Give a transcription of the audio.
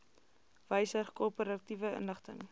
wysig korporatiewe inligting